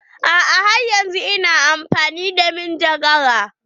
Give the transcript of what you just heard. A'a har yanzun ina amfani da manjagara.